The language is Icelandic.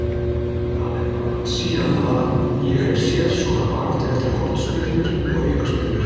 Það er langt síðan ég hef séð svona baráttu eftir hornspyrnur og aukaspyrnur.